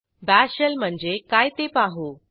bash shell म्हणजे काय ते पाहू